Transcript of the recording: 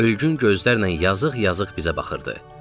Ölgün gözlərlə yazıq-yazıq bizə baxırdı.